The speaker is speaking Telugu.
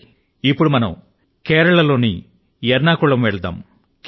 రండి ఇప్పుడు మనం కేరళ లోని ఎర్నాకులం కు పోదాము